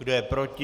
Kdo je proti?